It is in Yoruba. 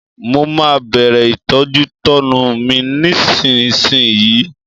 Mo máa bẹ̀rẹ̀ ìtọ́jútọ́nu mi nísinsìnyí